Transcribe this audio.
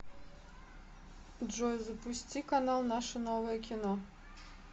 джой запусти канал наше новое кино